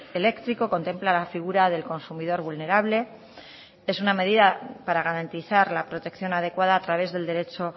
eléctrico contempla la figura del consumidor vulnerable es una medida para garantizar la protección adecuada a través del derecho